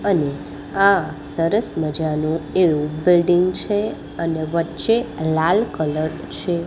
અને આ સરસ મજાનું એવુ બિલ્ડીંગ છે અને વચ્ચે લાલ કલર છે.